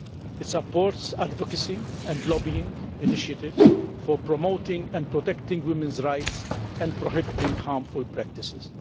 It supports advocacy and lobbying initiatives for promoting and protecting women's rights and prohibiting harmful practices.